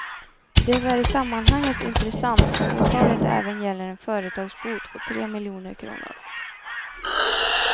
Det är i sammanhanget intressat att åtalet även gäller en företagsbot på tre miljoner kronor.